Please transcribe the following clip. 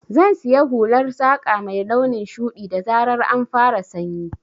Zan siya hular saƙa mai launin shuɗi, da zarar an fara sanyi.